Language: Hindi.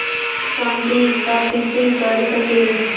शांति स्थापित कर सकें